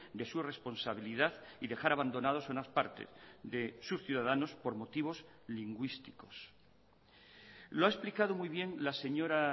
de su responsabilidad y dejar abandonados unas partes de sus ciudadanos por motivos lingüísticos lo ha explicado muy bien la señora